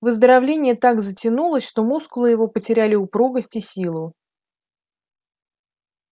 выздоровление так затянулось что мускулы его потеряли упругость и силу